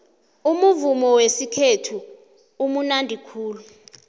umuvumo wesikhethu umunandi khulu